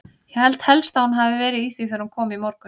Ég held helst að hún hafi verið í því þegar hún kom í morgun.